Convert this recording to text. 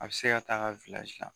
A bɛ se k'a ka la